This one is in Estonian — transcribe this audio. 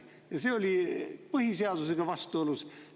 Ja see oli põhiseadusega vastuolus.